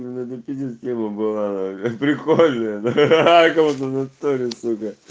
ну это пиздец тема была нахуй прикольная ахаха как будто в натуре сука